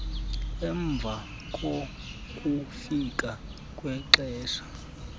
emva kokufika kwexesha